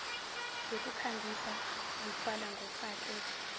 zokukhangisa zithwalwa ngofake